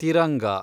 Tiranga